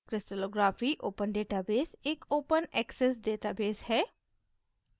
crystallography open database एक open access database है